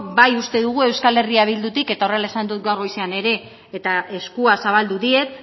bai uste dugu euskal herria bildutik eta horrela esan dut gaur goizean ere eta eskua zabaldu diet